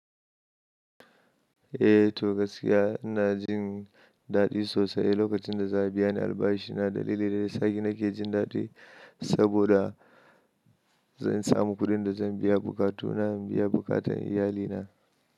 Eh to gaskiya ina jin daɗi sosai lokacin da za a biya ni albashi na dalili da ya nake jin daɗi saboda zan samu kuɗin da zan biya bukatu na in biya buƙatan iyalina.